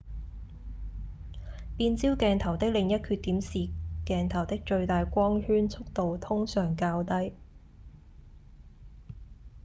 變焦鏡頭的另一缺點是鏡頭的最大光圈速度通常較低